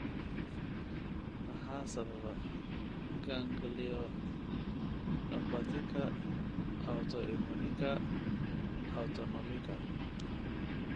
Maxaa sababa ganglionopathika autoimmunika autonomika?